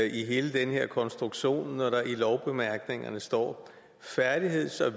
i hele den her konstruktion når der i lovbemærkningerne står færdigheds og